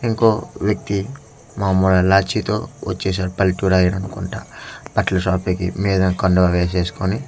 ఇంకో వ్యక్తి మాములుగా లాంచీ తో వచేసాడు పల్లెటూరు ఆయననుకుంట అట్లనే షాప్ కి మీద కండువ వేసేసుకొని వ--